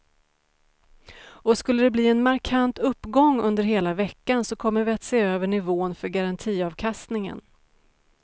Och skulle de bli en markant uppgång under hela veckan så kommer vi att se över nivån för garantiavkastningen.